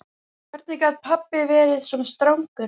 Hvernig gat pabbi verið svona strangur?